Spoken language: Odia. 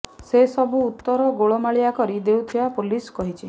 ସେ ସବୁ ଉତ୍ତର ଗୋଳମାଳିଆ କରି ଦେଉଥିବା ପୋଲିସ କହିଛି